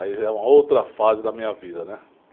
Aí já é uma outra fase da minha vida, né?